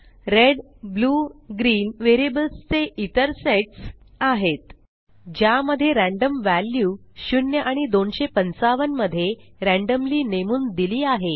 red blue green variables चे इतर sets आहेत ज्या मध्ये रॅंडम वॅल्यू 0 आणि 255 मध्ये रॅंडम्ली नेमून दिली आहे